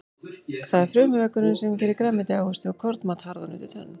Það er frumuveggurinn sem gerir grænmeti, ávexti og kornmat harðan undir tönn.